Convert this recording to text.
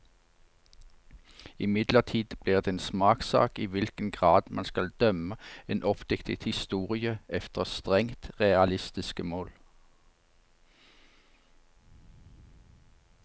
Imidlertid blir det en smakssak i hvilken grad man skal dømme en oppdiktet historie efter strengt realistiske mål.